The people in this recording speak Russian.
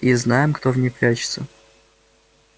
и знаем кто в ней прячется